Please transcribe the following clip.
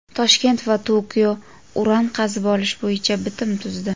Toshkent va Tokio uran qazib olish bo‘yicha bitim tuzdi.